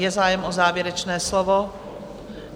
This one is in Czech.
Je zájem o závěrečné slovo?